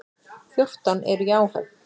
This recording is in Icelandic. Fjórtán eru í áhöfn.